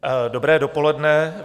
Dobré dopoledne.